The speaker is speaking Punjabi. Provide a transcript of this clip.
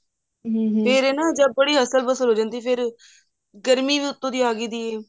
ਫ਼ੇਰ ਨਾ ਬੜੀ ਅਸਲ ਪਸਲ ਹੋ ਜਾਂਦੀ ਗਰਮੀ ਵੀ ਉੱਤੋਂ ਦੀ ਆਗੀ ਸੀ